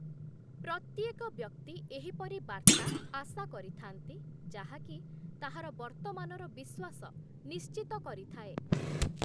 ପ୍ରତ୍ୟେକ ବ୍ୟକ୍ତି ଏହିପରି ବାର୍ତ୍ତା ଆଶା କରିଥାନ୍ତି ଯାହାକି, ତାହାର ବର୍ତ୍ତମାନର ବିଶ୍ଵାସ ନିଶ୍ଚିତ କରିଥାଏ ।